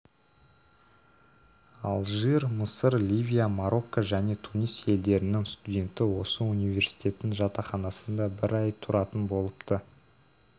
алжир мысыр ливия марокко және тунис елдерінің студенті осы университеттің жатақханасында бір ай тұратын болыпты